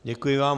Děkuji vám.